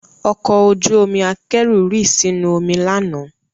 Ọkọ ojú omi akẹ́rù rì sínú omi lánàá